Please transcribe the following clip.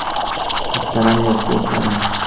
Muhtaram yosh do‘stlarim!